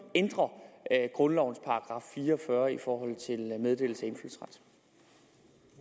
ændre grundlovens § fire og fyrre i forhold til meddelelse